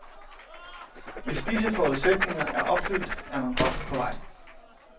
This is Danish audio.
Hvis disse forudsætninger er opfyldt, er man godt på vej.